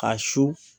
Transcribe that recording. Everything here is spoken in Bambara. Ka su